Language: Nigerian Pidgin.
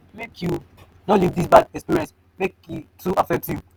make you no leave dis bad experience make e too affect you.